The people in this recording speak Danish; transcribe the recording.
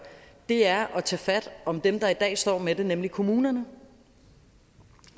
er at tage fat om dem der i dag står med det nemlig kommunerne